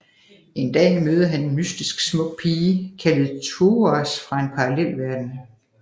En dag møder han en mystisk smuk pige kaldet Thouars fra en parallelverden